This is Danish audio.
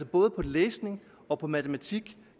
både læsning og matematik